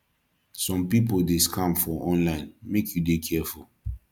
some pipo dey scam for online make you dey careful